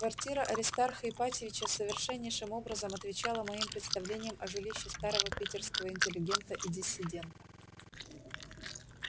квартира аристарха ипатьевича совершеннейшим образом отвечала моим представлениям о жилище старого питерского интеллигента и диссидента